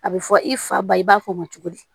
A bɛ fɔ i fa ba i b'a fɔ o ma cogo di